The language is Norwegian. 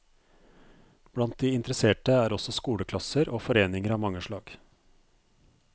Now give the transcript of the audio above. Blant de interesserte er også skoleklasser og foreninger av mange slag.